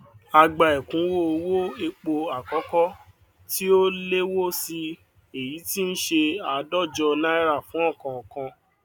a gba èkúnwó owó èpo àkókó tí ó léwó sí i èyí tí n ṣe àádójọ náírà fún òkòòkan